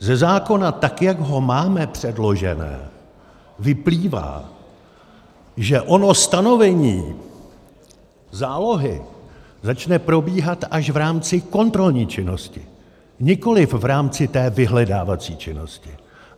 Ze zákona, tak jak ho máme předložený, vyplývá, že ono stanovení zálohy začne probíhat až v rámci kontrolní činnosti, nikoliv v rámci té vyhledávací činnosti.